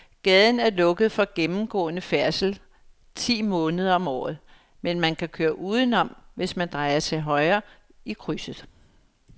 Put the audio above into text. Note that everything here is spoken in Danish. Gaden er lukket for gennemgående færdsel ti måneder om året, men man kan køre udenom, hvis man drejer til højre i krydset.